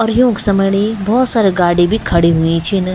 अर यौक समणी भौत सारी गाड़ी भी खड़ी हुई छिन।